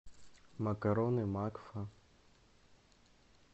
макароны макфа